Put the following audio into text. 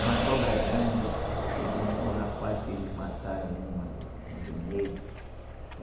Uma cobra grande, me contou um rapaz que eles mataram uma no, no Rio Negro. Eh